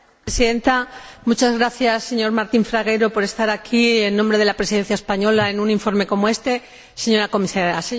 Señora Presidenta, muchas gracias, señor Martín Fragueiro por estar aquí, en nombre de la Presidencia española, en un informe como éste, señora Comisaria.